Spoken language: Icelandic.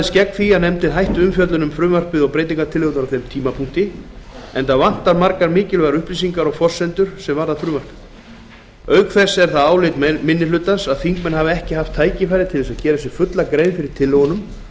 lagðist gegn því að nefndin hætti umfjöllun um frumvarpið og breytingartillögurnar á þeim tímapunkti enda vantaði margar mikilvægar upplýsingar og forsendur er varða frumvarpið auk þess er það álit minni hlutans að þingmenn hafi ekki haft tækifæri til þess að gera sér fulla grein fyrir tillögunum